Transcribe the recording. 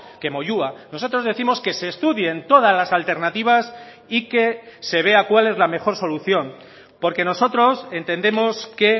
que moyua nosotros décimos que se estudien todas las alternativas y que se vea cuál es la mejor solución porque nosotros entendemos que